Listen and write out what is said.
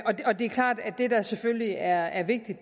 det der selvfølgelig er er vigtigt